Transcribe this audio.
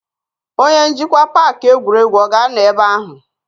Onye njikwa paaki egwuregwu ọ ga-anọ ebe ahụ?